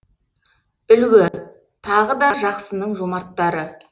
үлгі тағы да жақсының жомарттары